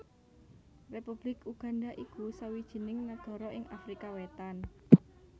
Republik Uganda iku sawijining nagara ing Afrika Wétan